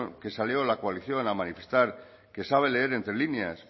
con que salió la coalición a manifestar que sabe leer entre líneas